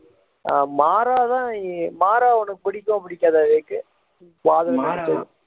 மாறா தான் மாறா உனக்கு பிடிக்குமா பிடிக்காதா விவேக்